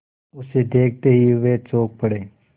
उसे देखते ही वे चौंक पड़े